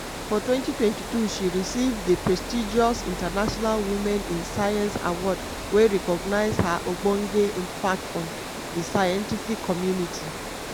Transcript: for 2022 she receive di prestigious international women in science award wey recognise her ogbonge impact on di scientific community.